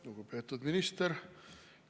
Lugupeetud minister!